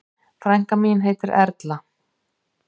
Frænka mín heitir Erla.